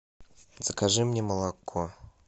закажи мне молоко